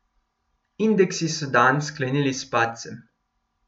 Indeksi so dan sklenili s padcem.